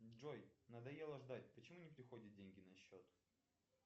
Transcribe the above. джой надоело ждать почему не приходят деньги на счет